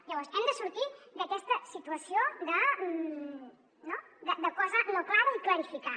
llavors hem de sortir d’aquesta situació no de cosa no clara i clarificar